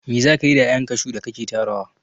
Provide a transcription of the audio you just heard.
Me za kayi da 'ya'yan kashu da ka ke tarawa?